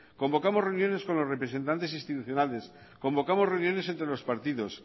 convocamos reuniones con los representantes institucionales convocamos reuniones entre los partidos